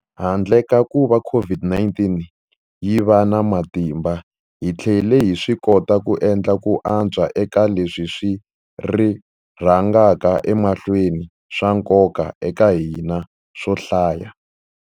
Handle ka kuva COVID-19 yi va na matimba, hi tlhele hi swikota ku endla ku antswa eka leswi swi rhangaka emahlweni swa nkoka eka hina swo hlaya.